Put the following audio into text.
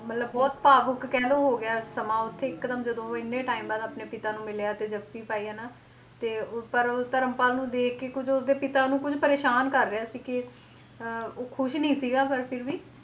ਮਤਲਬ ਬਹੁਤ ਭਾਵੁਕ ਕਹਿ ਲਓ ਹੋ ਗਿਆ ਸਮਾਂ ਉੱਥੇ ਇੱਕ ਦਮ ਜਦੋਂ ਉਹ ਇੰਨੇ time ਬਾਅਦ ਆਪਣੇ ਪਿਤਾ ਨੂੰ ਮਿਲਿਆ ਤੇ ਜੱਫ਼ੀ ਪਾਈ ਹਨਾ, ਤੇ ਪਰ ਧਰਮਪਾਲ ਨੂੰ ਦੇਖਕੇ ਕੁੱਝ ਉਸਦੇ ਪਿਤਾ ਨੂੰ ਕੁੱਝ ਪਰੇਸਾਨ ਕਰ ਰਿਹਾ ਸੀ ਕਿ ਅਹ ਉਹ ਖ਼ੁਸ਼ ਨੀ ਸੀਗਾ ਪਰ ਫਿਰ ਵੀ